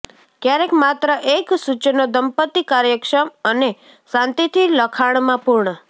ક્યારેક માત્ર એક સૂચનો દંપતી કાર્યક્ષમ અને શાંતિથી લખાણમાં પૂર્ણ